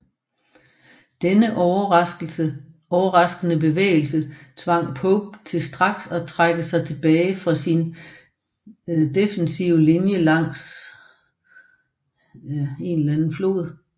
Denne overraskende bevægelse tvang Pope til straks at trække sig tilbage fra sin defensive linje langs Rappahannockfloden